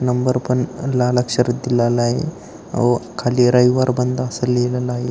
Number पण लाल अक्षरात दिलेला आहे व खाली रविवार बंद आहे अस लिहिलेल आहे.